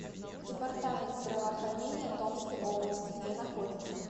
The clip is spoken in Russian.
департамент здравоохранения томской области где находится